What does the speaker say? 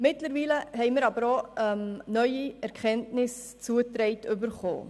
Mittlerweile wurden uns aber auch neue Erkenntnisse zugetragen.